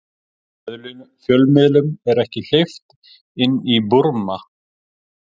Fjölmiðlum ekki hleypt inn í Búrma